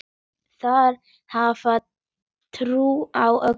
Þeir hafa trú á öllu.